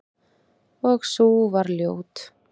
Og sú var ljót!